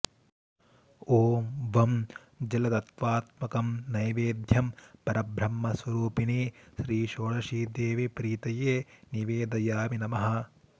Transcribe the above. ॐ वं जलतत्त्वात्मकं नैवेद्यं परब्रह्मस्वरूपिणी श्रीषोडशीदेवी प्रीतये निवेदयामि नमः